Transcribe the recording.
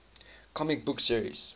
comic book series